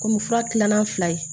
Komi fura tilanan fila ye